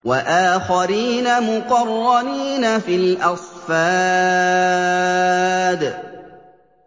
وَآخَرِينَ مُقَرَّنِينَ فِي الْأَصْفَادِ